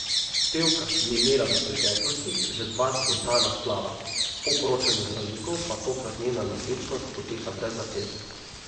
Pevka je imela v preteklosti že dva spontana splava, po poročanju zdravnikov pa tokrat njena nosečnost poteka brez zapletov.